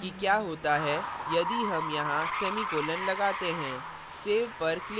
देखते हैं कि क्या होता है यदि हम यहाँ semicolon लगाते हैं